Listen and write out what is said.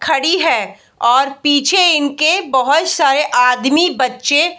खड़ी है और पीछे इनके बहोत सारे आदमी बच्चे --